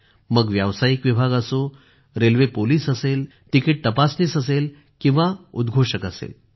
मग व्यावसायिक विभाग असो रेल्वे पोलिस असेल तिकीट तपासनीस असेल किंवा उद्घोषणा असेल